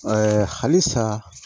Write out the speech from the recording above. halisa